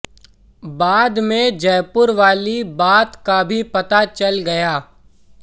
बाद में जयपुर वाली बात का भी पता चल गया